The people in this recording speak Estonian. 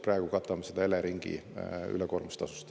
Praegu katame seda Eleringi ülekoormustasust.